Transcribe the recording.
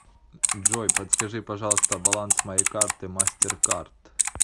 джой подскажи пожалуйста баланс моей карты мастер кард